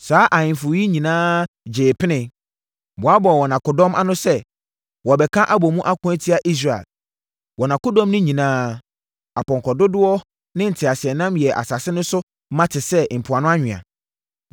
Saa ahemfo yi nyinaa gyee pene, boaboaa wɔn akodɔm ano sɛ wɔbɛka abɔ mu ako atia Israel. Wɔn akodɔm no nyinaa, apɔnkɔ dodoɔ ne nteaseɛnam yɛɛ asase no so ma te sɛ mpoano anwea.